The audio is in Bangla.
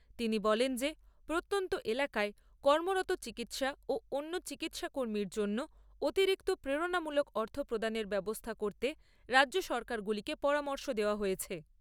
তিনি বলেন যে প্রত্যন্ত এলাকায় কর্মরত চিকিৎসা ও অন্য চিকিৎসা কর্মীর জন্য অতিরিক্ত প্রেরনামূলক অর্থ প্রদানের ব্যবস্থা করতে রাজ্য সরকারগুলিকে পরামর্শ দেওয়া হয়েছে।